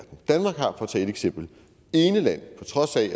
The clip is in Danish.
tage et eksempel ene land på trods af